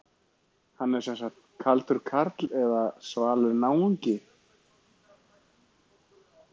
Hann er sem sagt kaldur karl eða svalur náungi.